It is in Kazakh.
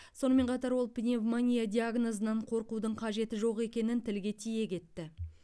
сонымен қатар ол пневмония диагнозынан қорқудың қажеті жоқ екенін тілге тиек етті